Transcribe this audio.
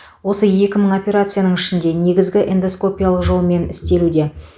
осы екі мың операцияның ішінде негізгісі эндоскопиялық жолмен істелуде